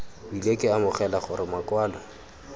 bile ke amogela gore makwalo